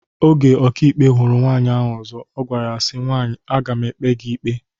Oge ọkàikpe hụrụ nwaanyị ọzọ ọ gwara ya si, nwaanyị aga m ekpe gị ikpe